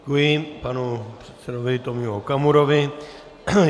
Děkuji panu předsedovi Tomio Okamurovi.